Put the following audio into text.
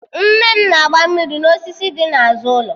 Nne mụ na-agba mmiri n'osisi dị n'azụ ụlọ